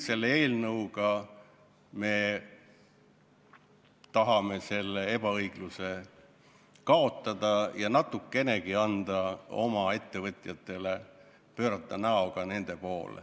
Selle eelnõuga me tahame selle ebaõigluse kaotada ja natukenegi pöörata näoga ettevõtjate poole.